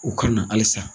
U ka na halisa